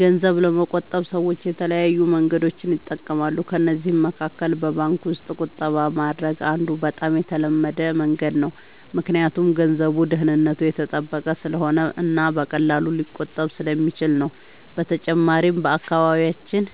ገንዘብ ለመቆጠብ ሰዎች የተለያዩ መንገዶችን ይጠቀማሉ። ከእነዚህ መካከል በባንክ ውስጥ ቁጠባ ማድረግ አንዱ በጣም የተለመደ መንገድ ነው፣ ምክንያቱም ገንዘቡ ደህንነቱ የተጠበቀ ስለሆነ እና በቀላሉ ሊቆጠብ ስለሚችል ነው። በተጨማሪም በአካባቢያችን